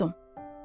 Qorxdum.